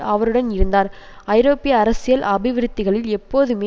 அவருடன் இருந்தார் ஐரோப்பிய அரசியல் அபிவிருத்திகளில் எப்போதுமே